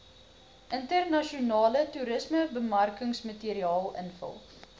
internasionale toerismebemarkingsmateriaal invul